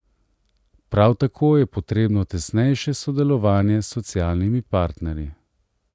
Prav tako je potrebno tesnejše sodelovanje s socialnimi partnerji.